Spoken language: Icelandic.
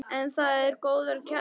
En það er góður kjarni.